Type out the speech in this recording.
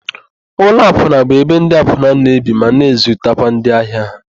Ụlọakwụna bụ ebe ndị akwụna na-ebi ma na-ezutakwa ndị ahịa ha.